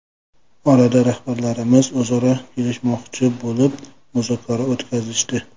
Orada rahbarlarimiz o‘zaro kelishmoqchi bo‘lib, muzokara o‘tkazishdi.